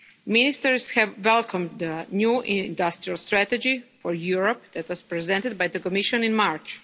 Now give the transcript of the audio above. Ministers have welcomed the new industrial strategy for Europe that was presented by the Commission in March.